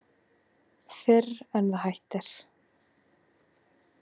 Fyrr en það hættir.